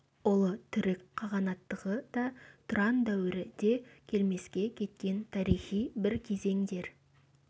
ұлы түрік қағанаттығы да тұран дәуірі де келмеске кеткен тарихи бір кезеңдер